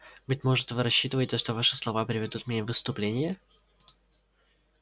быть может вы рассчитываете что ваши слова приведут меня в исступление